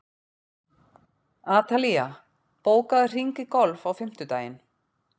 Atalía, bókaðu hring í golf á fimmtudaginn.